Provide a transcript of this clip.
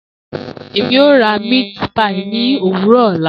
Emi o ra meat pie ni owuro ọla.